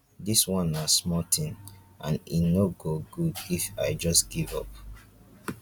dis one na small thing and e no go good if i just give up